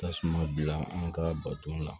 Tasuma bila an ka bato la